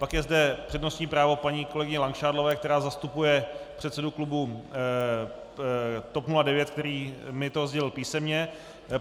Pak je zde přednostní právo paní kolegyně Langšádlové, která zastupuje předsedu klubu TOP 09, který mi to sdělil písemně.